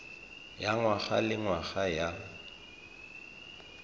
ya ngwaga le ngwaga ya